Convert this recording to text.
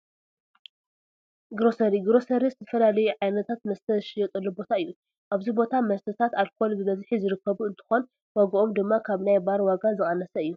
ግሮሰሪ-ግሮሰሪ ዝተፈላለዩ ዓይነታት መስተ ዝሽየጥሉ ቦታ እዩ፡፡ ኣብዚ ቦታ መስተታት ኣልኮል ብብዝሒ ዝርከቡ እንትኾን ዋግኦም ድማ ካብ ናይ ባር ዋጋ ዝቐነሰ እዩ፡፡